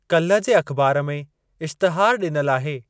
काल्हि जे अख़बार में इश्तिहार डि॒नलु आहे।